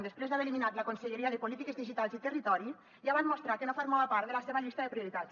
després d’haver eliminat la conselleria de polítiques digitals i territori ja van mostrar que no formava part de la seva llista de prioritats